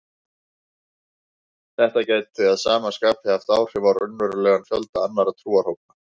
Þetta gæti að sama skapi haft áhrif á raunverulegan fjölda annarra trúarhópa.